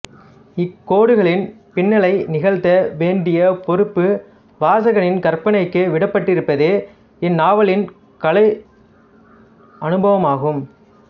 இக்கோடுகளின் பின்னலை நிகழ்த்த வேண்டிய பொறுப்பு வாசகனின் கற்பனைக்கு விடப்பட்டிருப்பதே இந்நாவலின் கலையனுபவமாகும்